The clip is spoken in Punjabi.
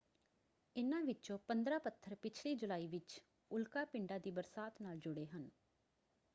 ਇਨ੍ਹਾਂ ਵਿੱਚੋਂ 15 ਪੱਥਰ ਪਿਛਲੀ ਜੁਲਾਈ ਵਿੱਚ ਉਲਕਾ ਪਿੰਡਾਂ ਦੀ ਬਰਸਾਤ ਨਾਲ ਜੁੜੇ ਹਨ।